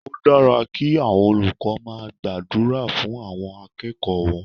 Ó dára kí àwọn olùkọ́ máa gbàdúrà fún àwọn akẹ́kọ̀ọ́ wọn.